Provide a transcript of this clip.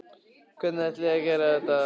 Hvernig ætlið þið að gera það?